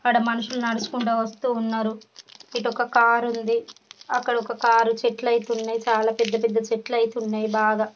ఇక్కడ మనుషులు నడుచుకుంటూ వస్తూ ఉన్నారు. ఇక్కడొక కార్ ఉంది. అక్కడొక కార్ . చెట్లయితే ఉన్నాయి. చాలా పెద్ద పెద్ద చెట్లయితే ఉన్నాయి బాగా.